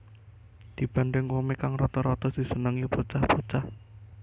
Dibanding komik kang rata rata disenengi bocah bocah